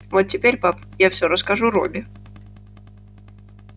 вот теперь пап я все расскажу робби